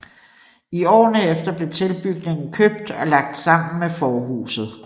I årene efter blev tilbygningen købt og lagt sammen med forhuset